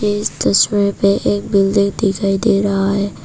इस तस्वीर में एक बिल्डिंग दिखाई दे रहा है।